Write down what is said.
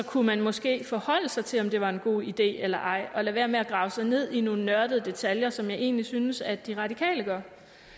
kunne måske forholde sig til om det var en god idé eller ej og lade være med at grave sig ned i nogle nørdede detaljer som jeg egentlig synes at de radikale gør